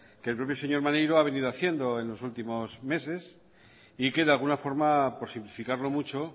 que el propio señor maneiro ha venido haciendo en los últimos meses y que de alguna forma por simplificarlo mucho